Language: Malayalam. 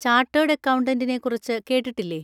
ചാർട്ടേർഡ് അക്കൗണ്ടന്റിനെ കുറിച്ച് കേട്ടിട്ടില്ലേ?